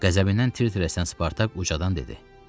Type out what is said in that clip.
Qəzəbindən tir-tir əsən Spartak ucadan dedi: